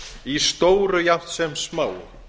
í stóru jafnt sem smáu